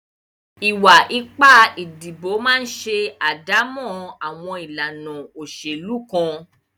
Ìwà ipá ìdìbò máa ń ṣe àdámọ́ àwọn ìlànà òṣèlú kan.